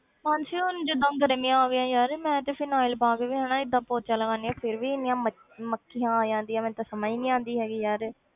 ਮਾਨਸੀ ਹੁਣ ਜਿੱਦਾਂ ਗਰਮੀਆਂ ਆ ਗਈਆਂ ਯਾਰ ਮੈਂ ਤੇ phenyl ਪਾ ਕੇ ਵੀ ਹਨਾ ਏਦਾਂ ਪੋਚਾ ਲਗਾਉਂਦੀ ਹਾਂ ਫਿਰ ਵੀ ਇੰਨੀਆਂ ਮ~ ਮੱਖੀਆਂ ਆ ਜਾਂਦੀਆਂ ਮੈਨੂੰ ਤਾਂ ਸਮਝ ਨੀ ਆਉਂਦੀ ਹੈਗੀ ਯਾਰ।